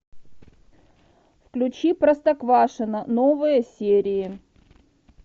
включи простоквашино новые серии